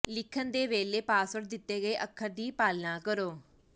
ਲਿਖਣ ਦੇ ਵੇਲੇ ਪਾਸਵਰਡ ਦਿੱਤੇ ਗਏ ਅੱਖਰ ਦੀ ਪਾਲਣਾ ਕਰੋ